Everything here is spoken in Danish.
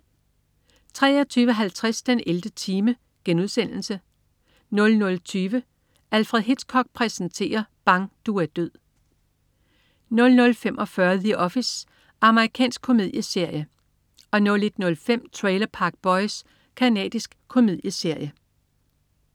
23.50 den 11. time* 00.20 Alfred Hitchcock præsenterer: Bang! Du er død 00.45 The Office. Amerikansk komedieserie 01.05 Trailer Park Boys. Canadisk komedieserie